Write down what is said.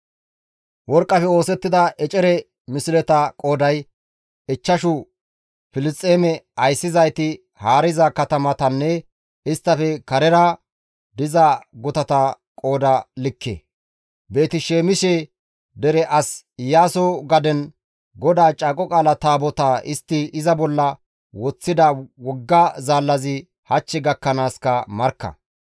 Worqqafe oosettida ecere misleta qooday, ichchashu Filisxeeme ayssizayti haariza katamatanne isttafe karera diza gutata qooda likke. Beeti-Saamise dere as Iyaaso gaden GODAA Caaqo Qaala Taabotaa istti iza bolla woththida wogga zaallazi hach gakkanaaska markka.